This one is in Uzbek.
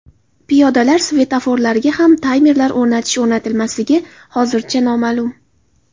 Piyodalar svetoforlariga ham taymerlar o‘rnatish-o‘rnatilmasligi hozircha noma’lum.